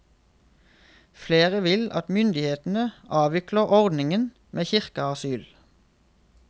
Flere vil at myndighetene avvikler ordningen med kirkeasyl.